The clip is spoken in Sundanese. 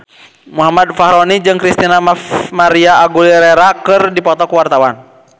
Muhammad Fachroni jeung Christina María Aguilera keur dipoto ku wartawan